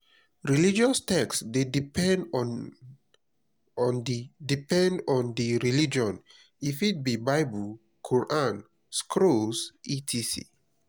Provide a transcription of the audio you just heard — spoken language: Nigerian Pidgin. religious text de depend on di depend on di religion e fit be bible quaran scrolls etcs